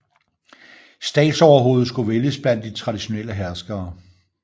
Statsoverhovedet skulle vælges blandt de traditionelle herskere